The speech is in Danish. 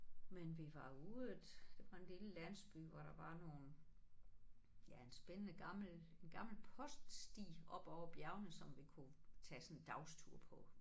Men vi var ude at der var en lille landsby hvor der var nogle ja en spændende gammel en gammel poststi op over bjergene som vi kunne tage sådan en dagstur på